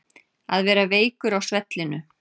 Að vera veikur á svellinu